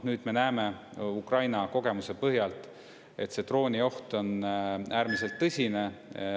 Nüüd me näeme Ukraina kogemuse põhjalt, et see droonioht on äärmiselt tõsine.